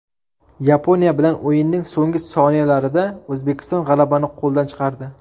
Yaponiya bilan o‘yinning so‘nggi soniyalarida O‘zbekiston g‘alabani qo‘ldan chiqardi.